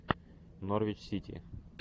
норвич сити